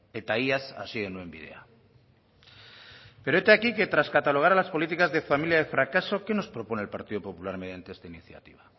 eta iaz hasi genuen bidea pero hete aquí que tras catalogar las políticas de familia de fracaso qué nos propone el partido popular mediante esta iniciativa